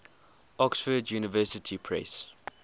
oxford university press